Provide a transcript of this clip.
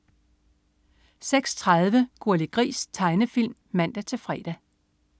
06.30 Gurli Gris. Tegnefilm (man-fre)